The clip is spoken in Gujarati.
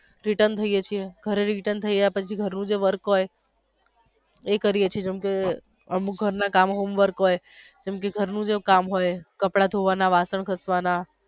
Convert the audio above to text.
return થયે છીએ ઘરે થી return થયા પછી ઘર નું જે work હોઈ એ કરીયે છીએ જેમ કે અમુક ઘર ના કામ હોઈ homework હોઈ જેમ કે ઘર નું કામ હોઈ કપડાં ધોવાના વાસણ ઘસવાના.